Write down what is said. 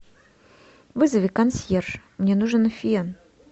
вызови консьерж мне нужен фен